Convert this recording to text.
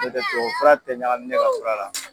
N'o tɛ tubabu fura tɛ ɲagami ne ka fura la.